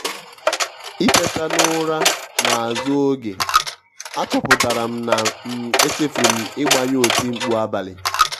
ìtèta n’ụra n’azụ oge àchọpụtara m na um echefuru m ịgbanyụ otimkpu abalị.